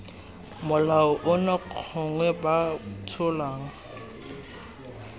molao ono gongwe b tsholang